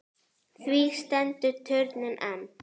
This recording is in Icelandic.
Því stendur turninn enn.